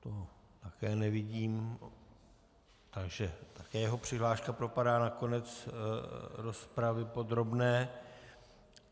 Toho také nevidím, takže také jeho přihláška propadá na konec rozpravy podrobné.